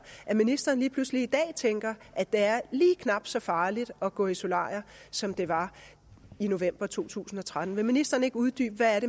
at ministeren lige pludselig i dag tænker at det er lige knap så farligt at gå i solarie som det var i november to tusind og tretten vil ministeren ikke uddybe hvad